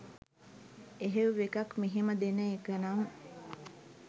එහෙව් එකක් මෙහෙම දෙන එකනම්